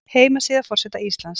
Heimasíða forseta Íslands